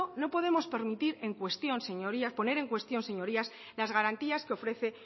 no podemos permitir poner en cuestión señorías las garantías que ofrece